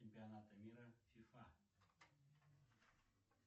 чемпионата мира фифа